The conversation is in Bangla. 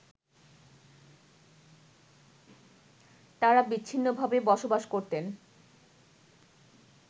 তারা বিচ্ছিন্নভাবে বসবাস করতেন